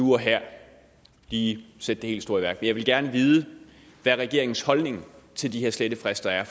nu og her lige sætte det helt store i værk men jeg vil gerne vide hvad regeringens holdning til de her slettefrister er